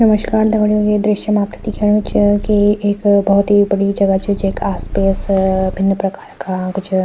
नमस्कार दगड़ियों ये दृश्य मा आपथे दिखेणु च की एक बहौत ही बड़ी जगह च जेक आस-पास भिन्न प्रकार का कुछ --